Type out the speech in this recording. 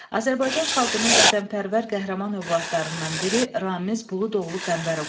Azərbaycan xalqının vətənpərvər qəhrəman övladlarından biri Ramiz Buludoğlu Qəmbərov olub.